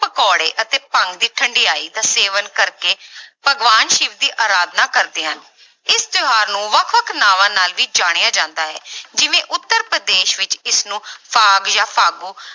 ਪਕੌੜੇ ਅਤੇ ਭੰਗ ਦੀ ਠੰਢਿਆਈ ਦਾ ਸੇਵਨ ਕਰਕੇ ਭਗਵਾਨ ਸਿਵ ਦੀ ਆਰਾਧਨਾ ਕਰਦੇ ਹਨ, ਇਸ ਤਿਉਹਾਰ ਨੂੰ ਵੱਖ ਵੱਖ ਨਾਵਾਂ ਨਾਲ ਵੀ ਜਾਣਿਆ ਜਾਂਦਾ ਹੈ ਜਿਵੇਂ ਉੱਤਰ ਪ੍ਰਦੇਸ਼ ਵਿੱਚ ਇਸਨੂੰ ਫਾਗ ਜਾਂ ਫਾਗੂ